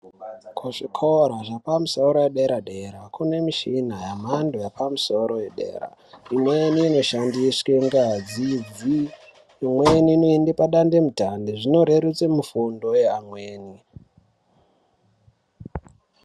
Kuzvikora zvepamusoro wederadera, kunemishina yemhando yepamusoro wedera. Imweni inoshandiswe ngazi, imweni inoyenda padande mutande. Zvinorerutse mufundo we amweni.